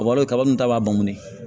Kaba kaba min ta b'a bannen ye